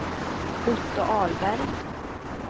Otto Ahlberg